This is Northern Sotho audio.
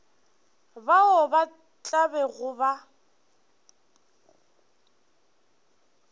bao ba tla bego ba